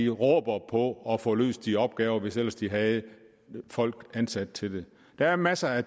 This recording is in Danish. råber på at få løst deres opgaver hvis ellers de havde folk ansat til det der er masser af